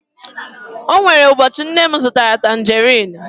o nwere ụbọchị nne m zụtara tanjeriin